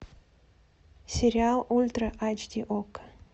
сериал ультра айч ди окко